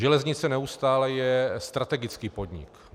Železnice neustále je strategický podnik.